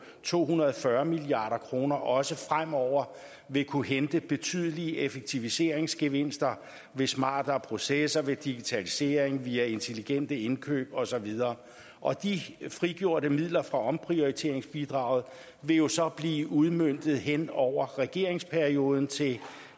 to hundrede og fyrre milliard kroner også fremover vil kunne hente betydelige effektiviseringsgevinster ved smartere processer ved digitalisering ved intelligente indkøb og så videre og de frigjorte midler fra omprioriteringsbidraget vil jo så blive udmøntet hen over regeringsperioden til